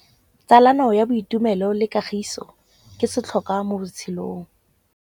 Tsalano ya boitumelo le kagiso ke setlhôkwa mo botshelong.